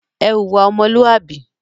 Ẹ hùwà ọmọlúàbí!